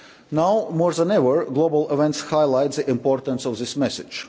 Now more than ever, global events highlight the importance of this message.